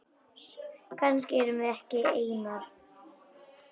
Kannski erum við ekki einar.